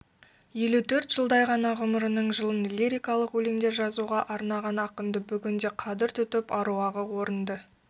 елу төрт жылдай ғана ғұмырының жылын лирикалық өлеңдер жазуға арнаған ақынды бүгінде қадір тұтып аруағын орынды